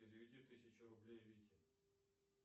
переведи тысячу рублей вике